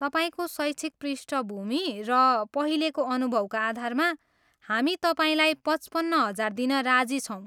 तपाईँको शैक्षिक पृष्टभूमि र पहिलेको अनुभवका आधारमा हामी तपाईँलाई पचपन्न हजार दिन राजी छौँ।